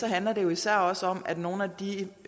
handler det jo især også om at nogle af de